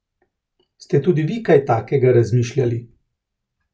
Ste tudi vi kaj takega razmišljali?